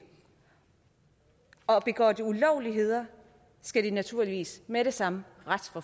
og begår de ulovligheder skal de naturligvis med det samme